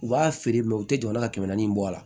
U b'a feere u tɛ jɔ la ka kɛmɛ naani bɔ a la